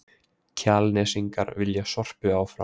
Kjalnesingar vilja Sorpu áfram